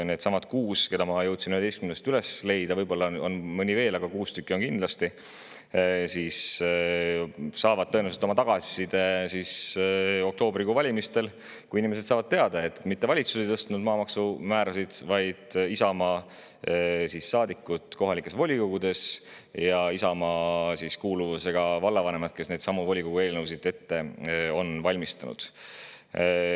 Needsamad kuus, kelle ma jõudsin 11-st üles leida – võib-olla on mõni veel, aga kuus tükki on kindlasti – saavad tõenäoliselt tagasisidet oktoobrikuu valimistel, kui inimesed on saanud teada, et maamaksumäärasid ei tõstnud mitte valitsus, vaid Isamaa saadikud kohalikes volikogudes ja Isamaa kuuluvusega vallavanemad, kes neidsamu volikogu eelnõusid ette on valmistanud.